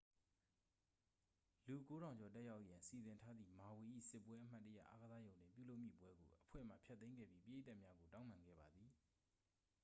လူ 9,000 ကျော် တက်ရောက်ရန် စီစဉ်ထားသည့် မာဝီ၏ စစ်ပွဲ အမှတ်တရ အားကစားရုံတွင်ပြုလုပ်မည့်ပွဲကို အဖွဲ့မှ ဖျက်သိမ်းခဲ့ပြီး ပရိသတ်များကို တောင်းပန်ခဲ့ပါသည်